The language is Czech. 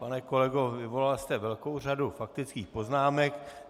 Pane kolego, vyvolal jste velkou řadu faktických poznámek.